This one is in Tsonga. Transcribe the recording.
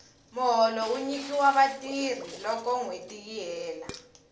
muholo wu nyikiwa vatirhi loko nwheti yi hela